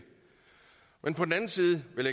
men på den anden side vil